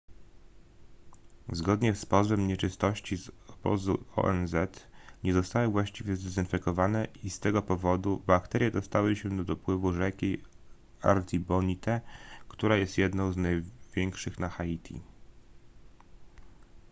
zgodnie z pozwem nieczystości z obozu onz nie zostały właściwie zdezynfekowane i z tego powodu bakterie dostały się do dopływu rzeki artibonite która jest jedną z największych na haiti